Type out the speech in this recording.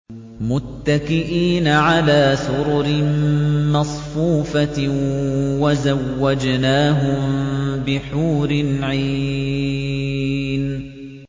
مُتَّكِئِينَ عَلَىٰ سُرُرٍ مَّصْفُوفَةٍ ۖ وَزَوَّجْنَاهُم بِحُورٍ عِينٍ